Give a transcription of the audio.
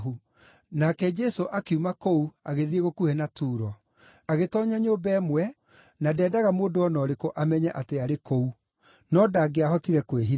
Nake Jesũ akiuma kũu agĩthiĩ gũkuhĩ na Turo. Agĩtoonya nyũmba ĩmwe na ndeendaga mũndũ o na ũrĩkũ amenye atĩ arĩ kũu; no ndangĩahotire kwĩhitha.